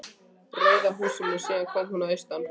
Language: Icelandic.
Rauða húsinu síðan hún kom að austan.